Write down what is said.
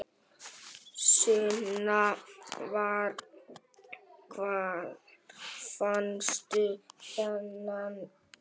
Sunna: Hvar fannstu þennan unga?